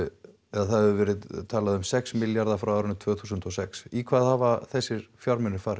það hafi verið talað um sex milljarða frá árinu tvö þúsund og sex í hvað hafa þessir fjármunir farið